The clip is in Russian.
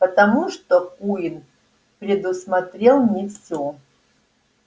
потому что куинн предусмотрел не всё